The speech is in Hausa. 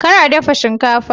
Kar a dafa shinkafa!